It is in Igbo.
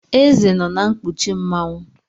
Eze nọ na nkpuchi Mmanwu.